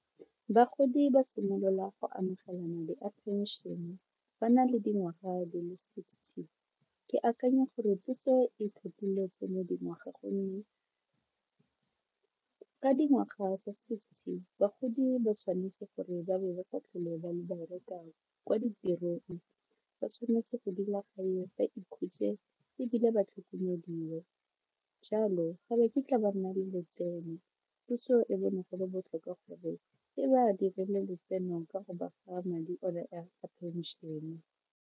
Bagodi ba simolola go amogela madi pension ba na le dingwaga di le sixty ke akanya gore puso e tlhophile tseno dingwaga gonne ka dingwaga tsa sixty bagodi ba tshwanetse gore ba be ba sa tlhole ba bereka kwa ditirong, ba tshwanetse go dula gae ba ikhutse ebile ba tlhokomeliwe jalo ga bo kitla ba nna le letseno puso e bone go le botlhokwa gore e ba dirile letseno ka go ba fa madi one a phenšene.